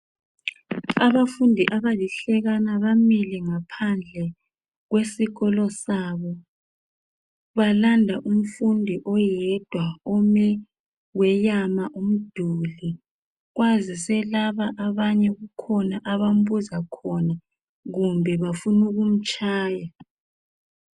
Abafundi abalihlekana bamile ngaphandle kwesikolo sabo, balanda umfundi oyedwa ome weyama umduli kwazise laba abanye kukhona abambuza khona kumbe bafuna ukumtshaya.